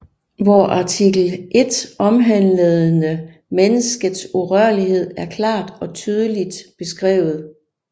Hvor artikel 1 omhandlende menneskets urørlighed er klart og tydeligt beskrevet